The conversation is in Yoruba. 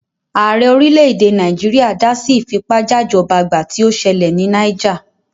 Ààrẹ orílẹ̀-èdè Nàìjíríà dá sí ìfipájajọ́bagbà tí ó ṣẹlẹ̀ ní Náíjà.